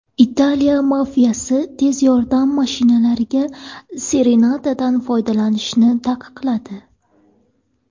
Italiya mafiyasi tez yordam mashinalariga sirenadan foydalanishni taqiqladi.